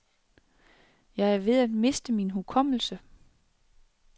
Jeg er ved at miste min hukommelse.